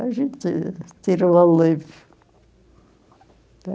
A gente tirava o leite.